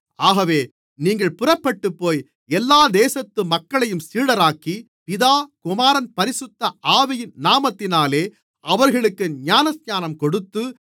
ஆகவே நீங்கள் புறப்பட்டுப்போய் எல்லா தேசத்து மக்களையும் சீடராக்கி பிதா குமாரன் பரிசுத்த ஆவியின் நாமத்தினாலே அவர்களுக்கு ஞானஸ்நானங்கொடுத்து